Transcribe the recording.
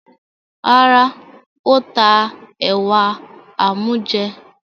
Rárá, ó ta ẹ̀wà amújẹ.